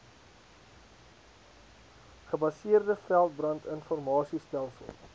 gebaseerde veldbrand informasiestelsel